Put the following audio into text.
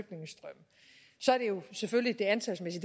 selvfølgelig det antalsmæssige